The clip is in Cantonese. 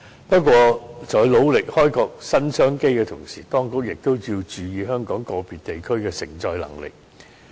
不過，在努力開闢新商機之餘，當局亦應注意香港個別地區的承載能力。